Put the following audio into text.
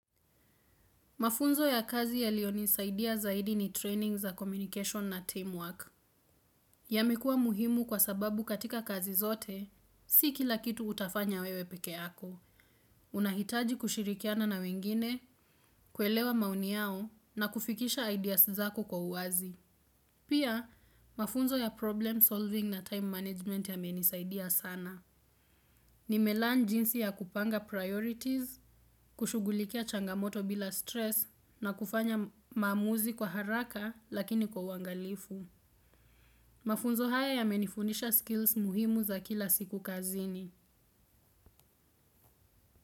Mafunzo ya kazi yalionisaidia zaidi ni training za communication na teamwork. Yamekua muhimu kwa sababu katika kazi zote, si kila kitu utafanya wewe peke yako. Unahitaji kushirikiana na wengine, kuelewa maoni yao na kufikisha ideas zako kwa uwazi. Pia, mafunzo ya problem solving na time management yamenisaidia sana. Ni melearn jinsi ya kupanga priorities, kushughulikia changamoto bila stress na kufanya maamuzi kwa haraka lakini kwa uwangalifu. Mafunzo haya yamenifundisha skills muhimu za kila siku kazini.